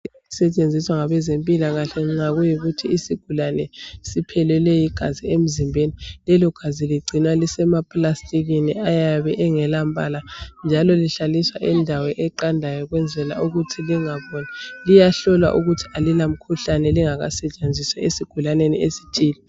Esetshenziswa ngabezempilakahle nxa kuyikuthi isigulane siphelelwe ligazi emzimbeni lelogazi ligcinwa lisema plastikini ayabe engelambala njalo lihlaliswa indawo eqandayo ukwenzela ukuthi lingaboli liyahlolwa ukuthi alilamkhuhlane lingakasetshenziswa esigulaneni esithile.